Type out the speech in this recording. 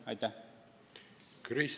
Aitäh!